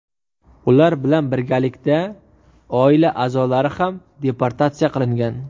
Ular bilan birgalikda oila a’zolari ham deportatsiya qilingan.